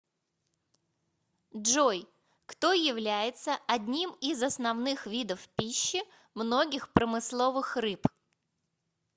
джой кто является одним из основных видов пищи многих промысловых рыб